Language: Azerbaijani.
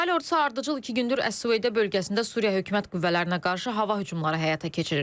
İsrail Ordusu ardıcıl iki gündür Əs-Süveydə bölgəsində Suriya hökumət qüvvələrinə qarşı hava hücumları həyata keçirir.